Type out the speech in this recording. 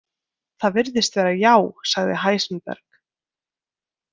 Það virðist vera, já, sagði Heisenberg.